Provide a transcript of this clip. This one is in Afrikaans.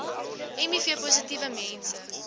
miv positiewe mense